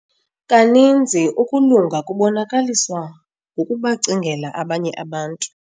Kaninzi ukulunga kubonakaliswa ngokubacingela abanye abantu.